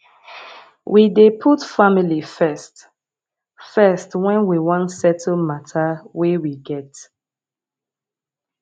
we dey put family first first wen we wan settle mata wey we get